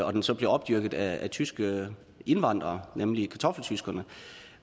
og den så blev opdyrket af tyske indvandrere nemlig kartoffeltyskerne